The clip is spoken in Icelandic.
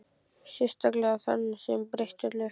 Sérstaklega á þann sem breytti öllu.